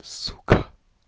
сука